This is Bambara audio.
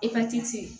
Epatiti